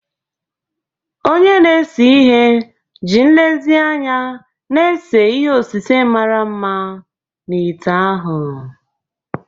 Onye na-ese ihe ji nlezianya na-ese ihe osise mara mma na ite ahụ.